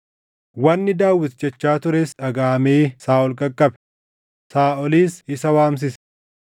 Wanni Daawit jechaa tures dhagaʼamee Saaʼol qaqqabe; Saaʼolis isa waamsise.